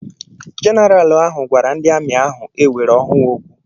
Jeneral ahụ gwara ndị amị ahụ ewere ọhụụ okwu.